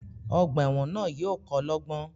Ogbà èwòn náà yío ko lógbón